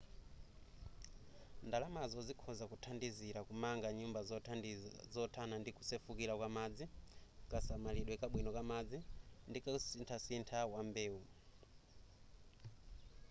ndalamazo zikhoza kuthandizila kumanga nyumba zothana ndi kusefukira kwa madzi kasamalidwe kabwino kamadzi ndi kasinthasintha wambewu